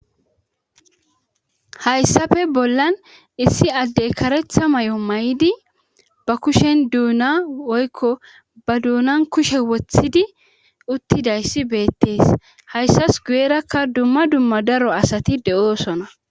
Hayssafe bollan issi addey karetha may'o may'idi ba kushen duuna woykko ba duunan kushe woththidi uttidayssi beettees hayssas guyerakka dumma dumma daro asati de'oosona.